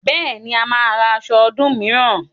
Bẹ́ẹ̀ni, a máa ra aṣọ ọdún mìíràn